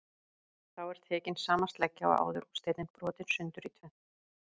Þá er tekin sama sleggja og áður og steinninn brotinn sundur í tvennt.